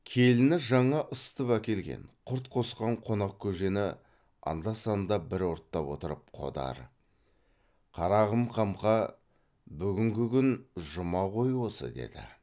келіні жаңа ысытып әкелген құрт қосқан қонақ көжені анда санда бір ұрттап отырып қодар қарағым қамқа бүгінгі күн жұма ғой осы деді